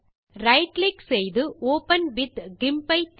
right click செய்து open with GIMP ஐ தேர்க